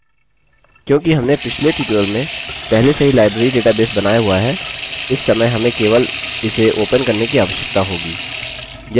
क्योंकि हमने पिछले tutorial में पहले से ही library database बनाया हुआ है इस समय हमें केवल इसे open करने की आवश्यकता होगी